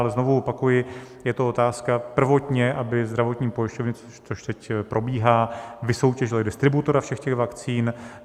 Ale znovu opakuji, je to otázka prvotně, aby zdravotní pojišťovny, což teď probíhá, vysoutěžily distributora všech těch vakcín.